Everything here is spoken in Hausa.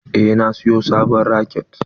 Eh na siyo sabon raket.